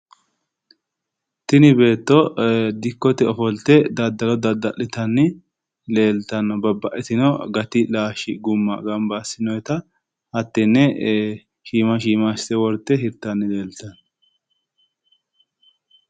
Tini beetto dikkote ofolte daddalo dadda'litanni leeltanno babbaxxitino gati laalchi gumma gamba assinoyeta hattenne shiima shiima assite worte hirtanni leeltanno.